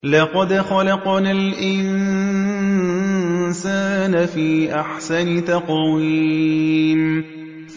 لَقَدْ خَلَقْنَا الْإِنسَانَ فِي أَحْسَنِ تَقْوِيمٍ